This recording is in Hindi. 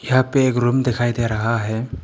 यहा पे एक रूम दिखाई दे रहा है।